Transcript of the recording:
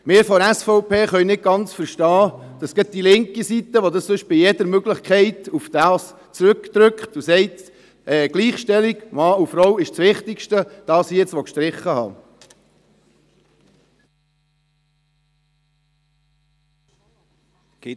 Wir von der SVP können nicht ganz verstehen, dass gerade die linke Seite, die sonst bei jeder Möglichkeit darauf drängt und sagt, die Gleichstellung von Mann und Frau sei das Wichtigste, das hier gestrichen haben will.